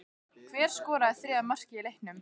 Hver skoraði þriðja markið í leiknum?